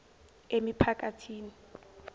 emiphakathini